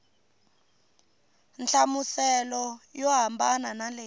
nhlamuselo yo hambana na leyi